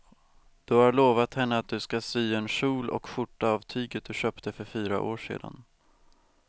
Du har lovat henne att du ska sy en kjol och skjorta av tyget du köpte för fyra år sedan.